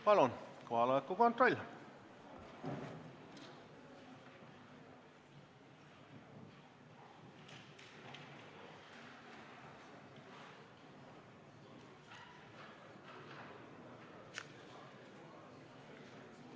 Palun kohaloleku kontroll!